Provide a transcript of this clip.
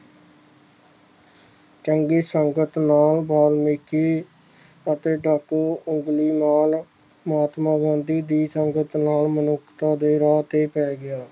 ਚੰਗੀ ਸੰਗਤ ਨਾਲ ਬਾਲਮੀਕੀ ਤੇ ਡਾਕੂ ਓਬਲਿਮਲ ਮਹਾਤਮਾ ਗਾਂਧੀ ਦੀ ਸੰਗਤ ਨਾਲ ਮਨੁੱਖਤਾ ਦੇ ਰਾਹ ਤੇ ਪੈ ਗਿਆ